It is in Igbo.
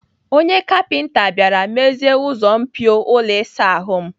Onye kapinta bịara mezie ụzọ mpio ụlọ ịsa ahụ m.